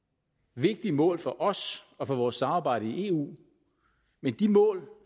vigtige mål for os og for vores samarbejde i eu men de mål